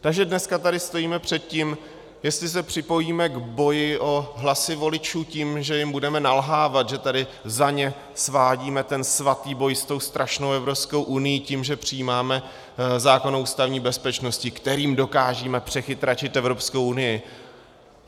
Takže dneska tady stojíme před tím, jestli se připojíme k boji o hlasy voličů tím, že jim budeme nalhávat, že tady za ně svádíme ten svatý boj s tou strašnou Evropskou unií tím, že přijímáme zákon o ústavní bezpečnosti, kterým dokážeme přechytračit Evropskou unii.